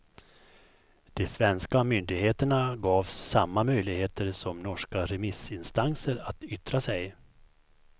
De svenska myndigheterna gavs samma möjligheter som norska remissinstanser att yttra sig.